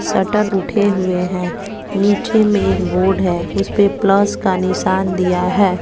Shutter उठे हुए हैं नीचे में एक बोर्ड है उसपे प्लस का निशान दिया है।